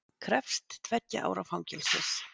Krefst tveggja ára fangelsis